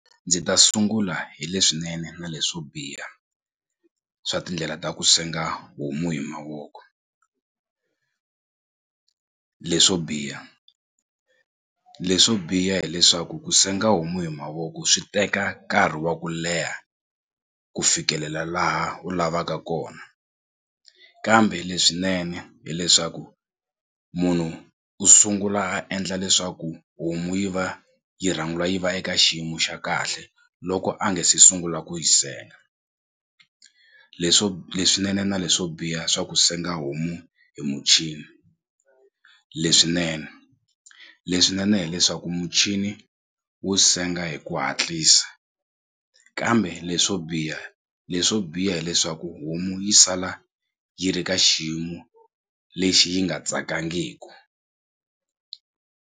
Ndzi ta sungula hi leswinene na leswo biha swa tindlela ta ku senga homu hi mavoko leswo biha leswo biha hileswaku ku senga homu hi mavoko swi teka nkarhi wa ku leha ku fikelela laha u lavaka kona kambe leswinene hileswaku munhu u sungula a endla leswaku homu yi va yi rhanga yi va eka xiyimo xa kahle loko a nge se sungula ku yi senga leswo leswinene na leswo biha swa ku senga homu hi muchini leswinene leswinene hileswaku muchini wu senga hi ku hatlisa kambe leswo biha leswo biha hileswaku homu yi sala yi ri ka xiyimo lexi yi nga tsakangiku.